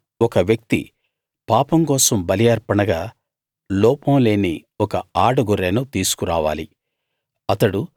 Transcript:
ఎవరైనా ఒక వ్యక్తి పాపం కోసం బలి అర్పణగా లోపం లేని ఒక ఆడగొర్రెను తీసుకు రావాలి